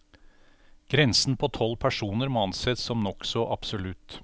Grensen på tolv personer må anses som nokså absolutt.